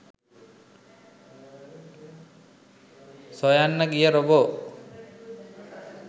සොයන්න ගිය රොබෝ